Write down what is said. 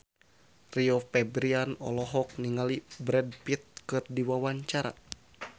Rio Febrian olohok ningali Brad Pitt keur diwawancara